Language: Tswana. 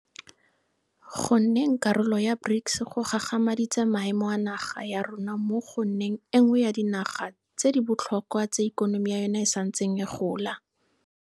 Go nneng karolo ya BRICS go gagamaditse maemo a naga ya rona mo go nneng e nngwe ya dinaga tse di botlhokwa tse ikonomi ya yona e santseng e gola.